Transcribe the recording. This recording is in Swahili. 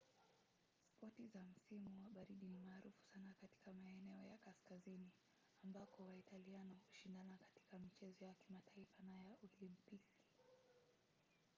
spoti za msimu wa baridi ni maarufu sana katika maeneo ya kaskazini ambako waitaliano hushindana katika michezo ya kimataifa na ya olimpiki